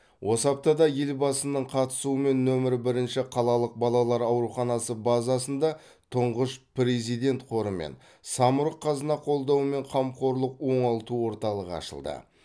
осы аптада елбасының қатысуымен нөмір бірінші қалалық балалар ауруханасы базасында тұңғыш президент қоры мен самұрық қазына қолдауымен қамқорлық оңалту орталығы ашылды